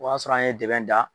O b'a sɔrɔ an ye dɛbɛn da